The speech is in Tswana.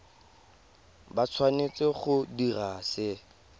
ba tshwanetse go dira se